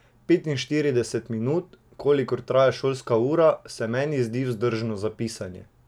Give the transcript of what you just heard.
Petinštirideset minut, kolikor traja šolska ura, se meni zdi vzdržno za pisanje.